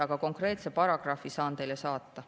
Aga konkreetse paragrahvi saan teile saata.